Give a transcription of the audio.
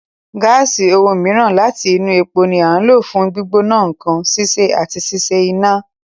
Gáàsì, ohun mìíràn láti inú epo, ni à ń lò fún gbígbóná nǹkan, sísè, àti ṣíṣe iná.